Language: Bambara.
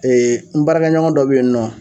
n baarakɛ ɲɔgɔn dɔ bɛ yen nɔ.